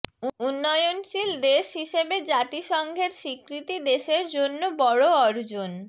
উন্নয়নশীল দেশ হিসেবে জাতিসংঘের স্বীকৃতি দেশের জন্য বড় অর্জন